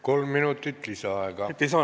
Kolm minutit lisaaega.